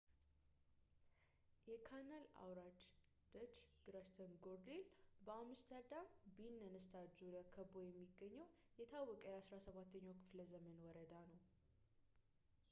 የካናል አውራጃ ደች ግራችተንጎርዴል በአምስተርዳም ቢንነንስታድ ዙሪያ ከቦ የሚገኝ የታወቀ የ 17ኛው ክፍለዘመን ወረዳ ነው